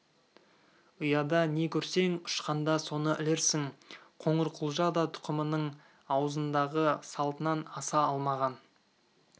ұяда не көрсең ұшқанда соны ілерсің қоңырқұлжа да тұқымының ауызданған салтынан аса алмаған